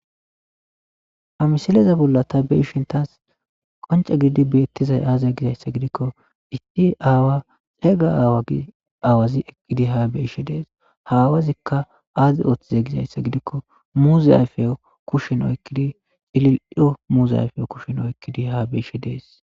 amisileza bolla ta beishin taas qonca gididi beettizay aaza gizayssa gidikko isti aawa xeeyga aawa gi aawazi ekidi haa beishe dees hawazikka aazi ooththiza gizayssa gidikko muzaayfe kushin oykkidi xililo muuzayfe kushin oykkidi ha beishe dees